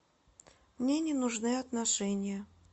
мне не нужны отношения